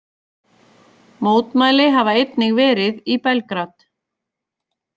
Mótmæli hafa einnig verið í Belgrad